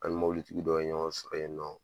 An ni mobilitigi dɔ ye ɲɔgɔn sɔrɔ yen nɔ.